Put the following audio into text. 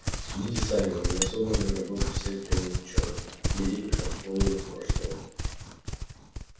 судите сами у меня собраны работы всех древних учёных великих археологов прошлого